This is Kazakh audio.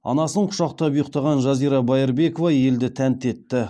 анасын құшақтап ұйықтаған жазира байырбекова елді тәнті етті